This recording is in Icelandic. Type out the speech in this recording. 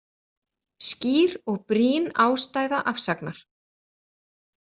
Skýr og brýn ástæða afsagnar